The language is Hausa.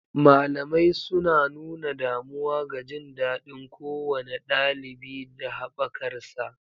Malamai suna nuna damuwa ga jin daɗin kowane ɗalibi da haɓakarsa.